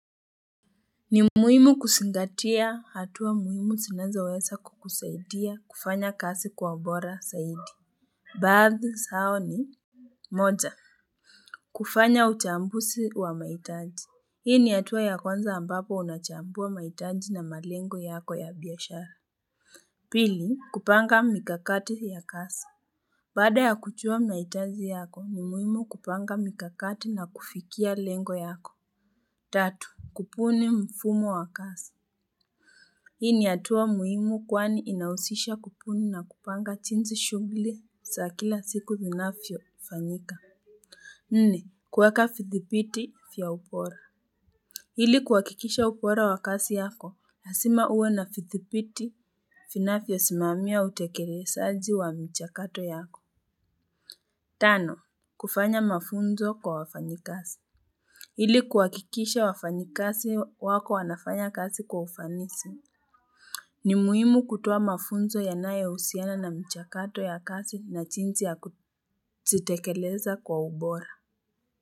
Ni muhimu kuzingatia hatua muhimu zinanzo weza kukusaidia kufanya kazi kwa ubora zaidi baadhi zao ni moja kufanya uchambusi wa mahitaji hii ni hatua ya kwanza ambapo unachambua mahitaji na malengo yako ya biashara pili kupanga mikakati ya kazi baada ya kujua mahitaji yako ni muhimu kupanga mikakati na kufikia lengo yako tatu kupuni mfumo wa kazi. Hii ni hatua muhimu kwani inahusisha kupuni na kupanga jinsi shughli za kila siku zinavyo fanyika. Nne. Kuweka vidhibiti vya ubora. Ili kuhakikisha ubora wa kazi yako, lazima uwe na vidhibiti vinafyo simamia utekelezaji wa mchakato yako. Tano. Kufanya mafunzo kwa wafanyikazi. Hili kuwakikisha wafanyikasi wako wanafanya kasi kwa ufanisi. Ni muhimu kutoa mafunzo yanayo husiana na mchakato ya kazi na jimsi ya kuzitekeleza kwa ubora.